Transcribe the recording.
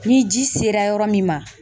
Ni ji sera yɔrɔ min ma